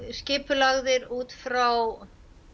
skipulagðir út frá